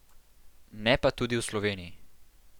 Ne pa tudi v Sloveniji.